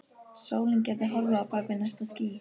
Sólin gæti horfið á bak við næsta ský.